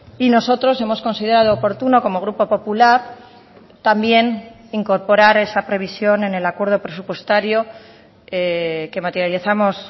y nosotros hemos considerado oportuno como grupo popular también incorporar esa previsión en el acuerdo presupuestario que materializamos